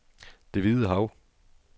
Det Hvide Hav